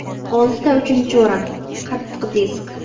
Oltita uchinchi o‘rin – qattiq disk.